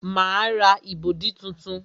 Ma ra ìbọ̀dí tuntun